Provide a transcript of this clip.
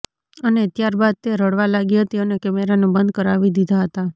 અને ત્યાર બાદ તે રડવા લાગી હતી અને કેમેરાને બંધ કરાવી દીધા હતા